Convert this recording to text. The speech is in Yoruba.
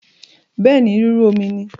Bẹẹ̀ ni, rírú omi ni